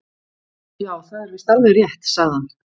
Já, það er víst alveg rétt sagði hann.